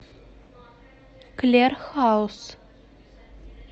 клер хаус